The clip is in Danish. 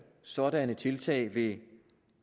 sådanne tiltag vil